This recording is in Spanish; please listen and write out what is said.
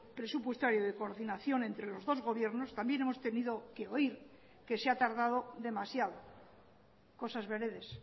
presupuestario de coordinación entre los dos gobiernos también hemos tenido que oír que se ha tardado demasiado cosas veredes